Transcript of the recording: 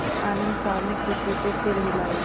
आनन्द साहब ने खुशी से सिर हिलाया